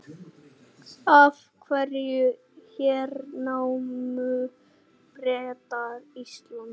Af hverju hernámu Bretar Ísland?